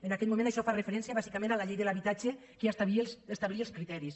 en aquest moment això fa referència bàsicament a la llei de l’habitatge que ja establia els criteris